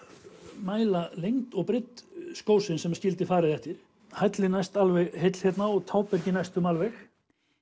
mæla lengd og breidd skósins sem að skildi farið eftir hællinn næst alveg heill hérna og tábergið næstum alveg